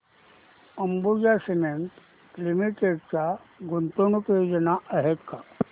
Ambuja cement limited च्या गुंतवणूक योजना आहेत का